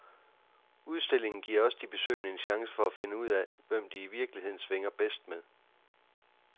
Udstillingen giver også de besøgende en chance for at finde ud af, hvem de i virkeligheden svinger bedst med.